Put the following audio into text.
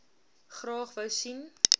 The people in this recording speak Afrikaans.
graag wou sien